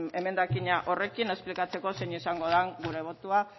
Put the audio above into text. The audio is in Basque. emendakina horrekin esplikatzeko zein izan den gure botoa